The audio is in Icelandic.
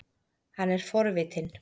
Hann er forvitinn.